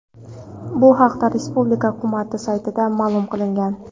Bu haqda respublika hukumati saytida ma’lum qilingan .